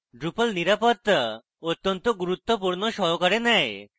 drupal নিরাপত্তা অত্যন্ত গুরুত্বপূর্ণ সহকারে নেয়